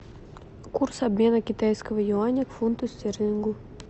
курс обмена китайского юаня к фунту стерлингу